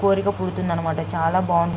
కోరిక పుడుతుంది అన్నమాట చాలా బాగుంద--